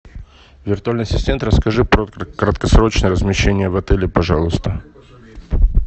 виртуальный ассистент расскажи про краткосрочное размещение в отеле пожалуйста